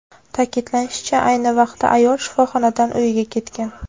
Ta’kidlanishicha, ayni vaqtda ayol shifoxonadan uyiga ketgan.